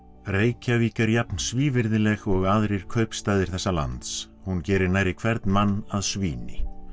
Reykjavík er jafn svívirðileg og aðrir kaupstaðir þessa lands hún gerir nærri hvern mann að svíni